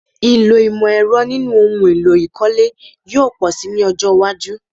Ìlò ìmọ̀-ẹ̀rọ nínú ohun èlò ìkọ́lé yóò pọ̀ si ní ọjọ́ iwájú.